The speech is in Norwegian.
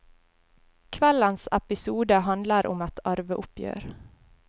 Kveldens episode handler om et arveoppgjør.